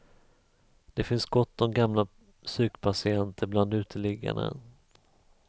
Det finns gott om gamla psykpatienter bland uteliggarna.